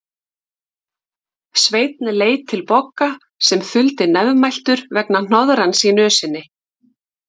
Sveinn leit til Bogga sem þuldi nefmæltur vegna hnoðrans í nösinni.